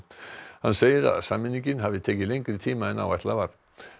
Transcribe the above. hann segir að sameiningin hafi tekið lengri tíma en áætlað var